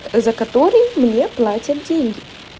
за который мне платят деньги